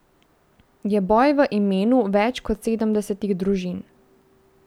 Je boj v imenu več kot sedemdesetih družin.